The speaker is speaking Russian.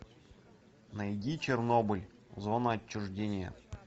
найди чернобыль зона отчуждения